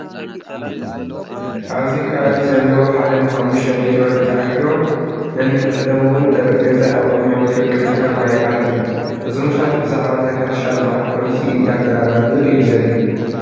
ኣበዚ ከባቢ ዘለው ሓደ ንሓሙሽቲ ኔትዎርክ ተኣኪ ነንሕድሕዶም እውን ጠረጰዛ ኣብ ቅድሚኦም ፍርቂ ሊትሮ ማይ ኣሎ እዞም ሰባት ብዛዕባ ናይ ሕርሻ ልምዓት ፖሊሲ እንዳተራዳድኡ እዩ ዘርኢ